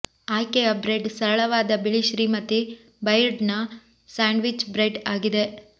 ಆಯ್ಕೆಯ ಬ್ರೆಡ್ ಸರಳವಾದ ಬಿಳಿ ಶ್ರೀಮತಿ ಬೈರ್ಡ್ನ ಸ್ಯಾಂಡ್ವಿಚ್ ಬ್ರೆಡ್ ಆಗಿದೆ